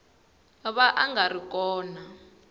va a nga ri kona